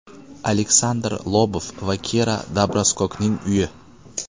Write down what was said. Aleksandr Lobov va Kira Dobroskokning uyi.